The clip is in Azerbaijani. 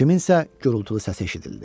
Kimsənin gürultulu səsi eşidildi.